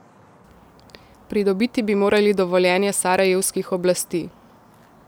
Pridobiti bi morali dovoljenje sarajevskih oblasti.